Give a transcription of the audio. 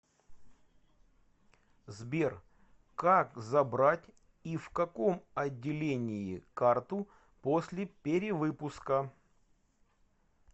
сбер как забрать и в каком отделении карту после перевыпуска